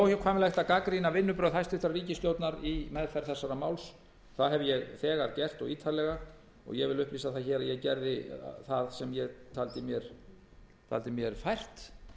er að gagnrýna vinnubrögð hæstvirtrar ríkisstjórnar í meðferð þessa máls það hef ég þegar gert og ítarlega ég vil upplýsa hér að ég gerði það sem ég taldi mér fært